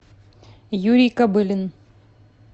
юрий кобылин